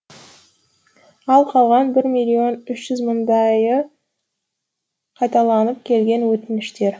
ал қалған бір миллион үш жүз мыңдайы қайталанып келген өтініштер